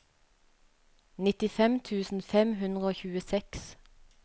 nittifem tusen fem hundre og tjueseks